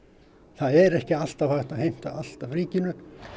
það er ekki alltaf hægt að heimta allt af ríkinu